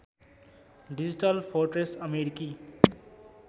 digital fortress अमेरिकी